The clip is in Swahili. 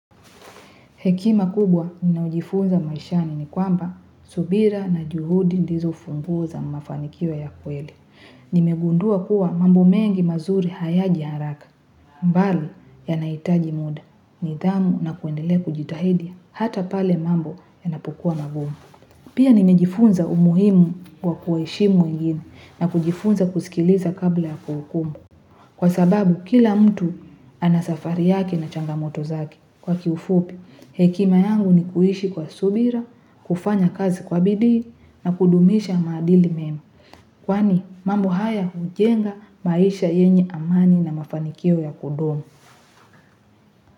Hekima kubwa ninayo jifunza maishani ni kwamba subira na juhudi ndizo funguo za mafanikio ya kweli. Nimegundua kuwa mambo mengi mazuri hayaji haraka. Bali yana hitaji muda nidhamu na kuendela kujitahidi hata pale mambo yanapokua magumu. Pia nimejifunza umuhimu kwa kuheshimu wengine na kujifunza kusikiliza kabla ya kuhukumu. Kwa sababu kila mtu anasafari yake na changamoto zake. Kwa kiufupi, hekima yangu ni kuishi kwa subira, kufanya kazi kwa bidii na kudumisha maadili mema. Kwani, mambo haya hujenga maisha yenye amani na mafanikio ya kudumu.